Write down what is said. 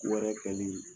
Wɛrɛ kɛli